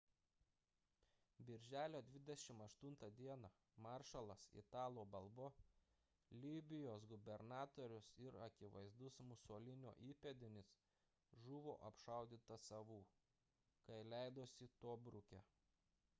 birželio 28 d maršalas italo balbo libijos gubernatorius ir akivaizdus musolinio įpėdinis žuvo apšaudytas savų kai leidosi tobruke